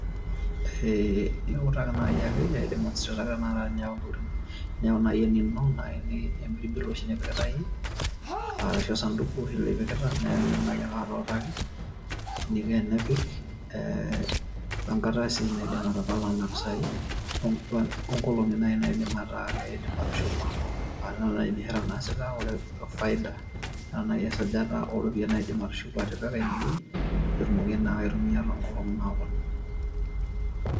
iutaki naaji ake iasishore empirbil oshi nipikita iyie arashu osaduku oshi lipikita iidim naaji aake atuutaki eniko tenepik, wenkata sii naidim atapala nena pisai onkolong'i naai naidim atushuma. aah ore naaji biashara naasita ore faida enaa naaaji esajata oropiyiani naidim atushuku atipika ine wueji peyie etumoki naa aitumia too nkolong'i natii dukuya.